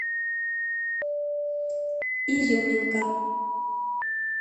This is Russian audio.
изюминка